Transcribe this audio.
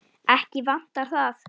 Ekki vantar það.